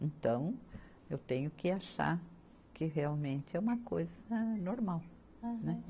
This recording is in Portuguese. Então, eu tenho que achar que realmente é uma coisa normal. Né